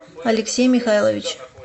алексей михайлович